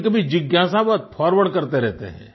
कभीकभी जिज्ञासावश फॉरवर्ड करते रहते हैं